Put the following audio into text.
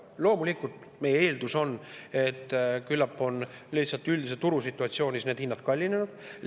Loomulikult on meie eeldus, et küllap on need hinnad lihtsalt üldises turusituatsioonis kallinenud.